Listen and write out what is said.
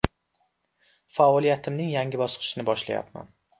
Faoliyatimning yangi bosqichini boshlayapman”.